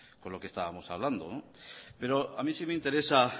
con lo que estábamos hablando pero a mí sí me interesa